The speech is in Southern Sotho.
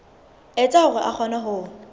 etsa hore a kgone ho